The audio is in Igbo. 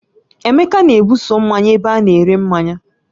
Emeka na-ebuso mmanya ebe ana-ere mmanya